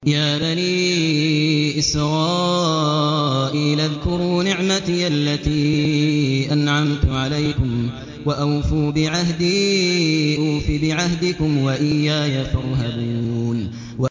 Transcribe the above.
يَا بَنِي إِسْرَائِيلَ اذْكُرُوا نِعْمَتِيَ الَّتِي أَنْعَمْتُ عَلَيْكُمْ وَأَوْفُوا بِعَهْدِي أُوفِ بِعَهْدِكُمْ وَإِيَّايَ فَارْهَبُونِ